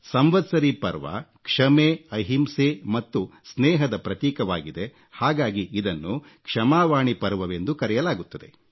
ಸಂವತ್ಸರೀ ಪರ್ವ ಕ್ಷಮೆ ಅಹಿಂಸೆ ಮತ್ತು ಸ್ನೇಹದ ಪ್ರತೀಕವಾಗಿದೆ ಹಾಗಾಗಿ ಇದನ್ನು ಕ್ಷಮಾವಾಣಿ ಪರ್ವವೆಂದೂ ಕರೆಯಲಾಗುತ್ತದೆ